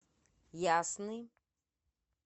ясный